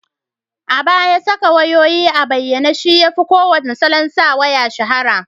A baya, saka wayayoyi a bayyane shi yafi kowane salon sa waya shahara